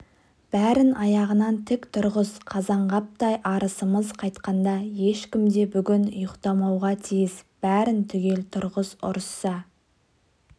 бәрін аяғынан тік тұрғыз қазанғаптай арысымыз қайтқанда ешкім де бүгін ұйықтамауға тиіс бәрін түгел тұрғыз ұрысса